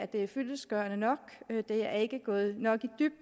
det er fyldestgørende det er ikke gået nok